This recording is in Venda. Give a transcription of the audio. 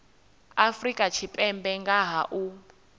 afrika tshipembe nga ha u